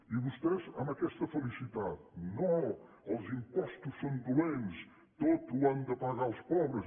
i vostès amb aquesta felicitat no els impostos són dolents tot ho han de pagar els pobres